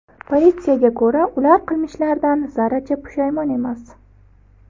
Politsiyaga ko‘ra, ular qilmishlaridan zarracha pushaymon emas.